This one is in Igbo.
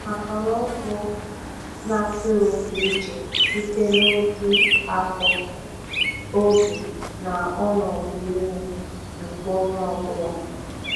Akara ọkụ n’atụrụ dị iche site n’ụdị, afọ, oge, na ọnọdụ ime nke onye ọ bụla.